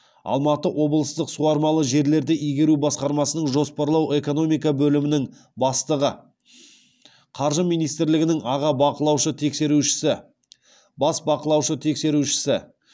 алматы облыстық суармалы жерлерді игеру басқармасының жоспарлау экономика бөлімінің бастығы қаржы министрлігінің аға бақылаушы тексерушісі бас бақылаушы тексерушісі